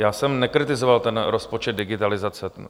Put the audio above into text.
Já jsem nekritizoval ten rozpočet digitalizace.